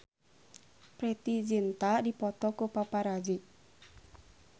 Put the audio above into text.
Preity Zinta dipoto ku paparazi